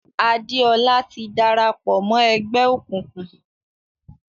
Adéọlá ti dára pọ̀ mọ́ ẹgbẹ́ òkùnkùn.